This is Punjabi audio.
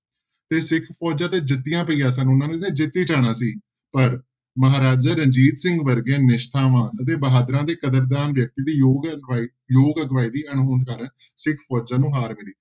ਤੇ ਸਿੱਖ ਫੋਜ਼ਾਂ ਤੇ ਜਿੱਤੀਆਂ ਪਈਆਂ ਸਨ ਉਹਨਾਂ ਨੇ ਤੇ ਜਿੱਤ ਹੀ ਜਾਣਾ ਸੀ ਪਰ ਮਹਾਰਾਜਾ ਰਣਜੀਤ ਸਿੰਘ ਵਰਗੇ ਨਿਸ਼ਠਾਵਾਨ ਅਤੇ ਬਹਾਦਰਾਂ ਦੀ ਕਦਰਦਾਨ ਵਿਅਕਤੀ ਦੀ ਯੋਗ ਅਗਵਾਈ ਯੋਗ ਅਗਵਾਈ ਦੀ ਅਣਹੋਂਦ ਕਾਰਨ ਸਿੱਖ ਫੋਜ਼ਾਂ ਨੂੰ ਹਾਰ ਮਿਲੀ।